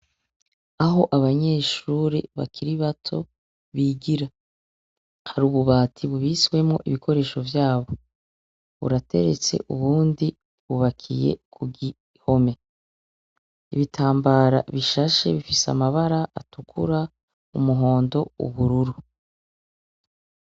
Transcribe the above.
Aho abanyeshure bakiri bato bigira hari ububati bubitswemwo ibikoresho vyabo , burateretse ubundi bwubakiye ku bihome. Ibitambara bishashe bifise amabara atukura, umuhondo, ubururu.